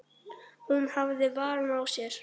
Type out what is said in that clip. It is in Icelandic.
Hún hafði varann á sér.